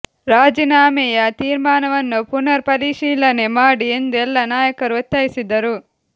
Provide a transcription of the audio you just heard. ರಾಜೀನಾಮೆಯ ತೀರ್ಮಾನವನ್ನು ಪುನರ್ ಪರಿಶೀಲನೆ ಮಾಡಿ ಎಂದು ಎಲ್ಲಾ ನಾಯಕರು ಒತ್ತಾಯಿಸಿದರು